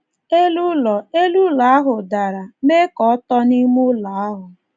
Elu ụlọ Elu ụlọ ahụ dara, mee ka ọ tọ n’ime ụlọ ahụ.